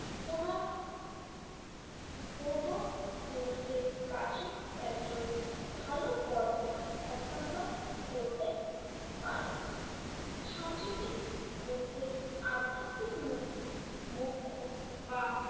পূর্ব পুরুষদের কাছে একজনের ভালো কর্ম হস্তান্তর করতে পারে। সাঁচিতে বুদ্ধের আধ্যাত্মিক মুক্তি মুখ্য বা